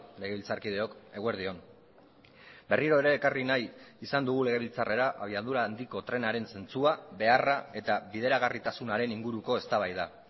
legebiltzarkideok eguerdi on berriro ere ekarri nahi izan dugu legebiltzarrera abiadura handiko trenaren zentzua beharra eta bideragarritasunaren inguruko eztabaida